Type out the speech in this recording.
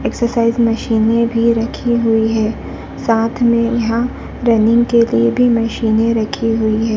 Exercise मशीनें भी रखी हुई है। साथ में यहाँ रनिंग के लिए भी मशीनें रखी हुई है।